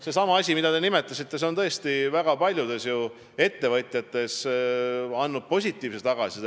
Sellesama asja kohta, mida te nimetasite, on ju väga paljud ettevõtjad andnud positiivset tagasisidet.